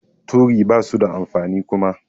Turi basu da amfani Kuma.